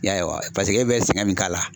I y'a ye wa paseke e bɛ sɛgɛn min k'a la.